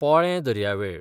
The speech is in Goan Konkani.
पोळे दर्यावेळ